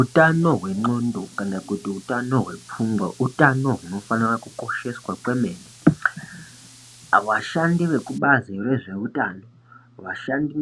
Utano hwendxondo kana kuti utano hwepfungwa utano hunofanira kukosheswa kwemene. Vashandi vekubazi rezveutano